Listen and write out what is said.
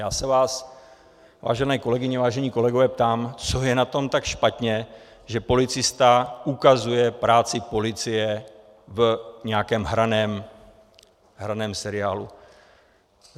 Já se vás, vážené kolegyně, vážení kolegové, ptám, co je na tom tak špatně, že policista ukazuje práci policie v nějakém hraném seriálu.